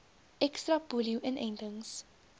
ekstra polio inentings